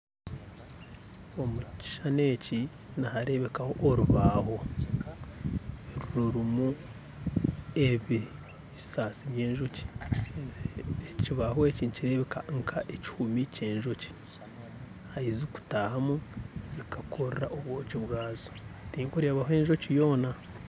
Omukishushani eki niharebekaho orubaho rurimu ebisasi by'enjoki ekibaho eki nikireebeka nka ekihumi ky'enjoki ahi zikutahamu zikakora obwoki bwazo, tinkurebaho enjoki yoona